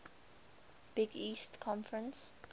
big east conference